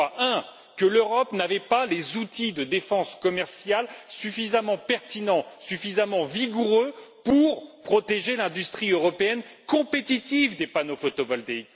D'abord, que l'Europe n'avait pas les outils de défense commerciale suffisamment pertinents et vigoureux pour protéger l'industrie européenne compétitive des panneaux photovoltaïques.